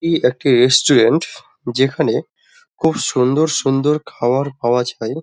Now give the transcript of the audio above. এই একটি রেস্টুরেন্ট যেখানে খুব সুন্দর সুন্দর খাবার পাওয়া যায়।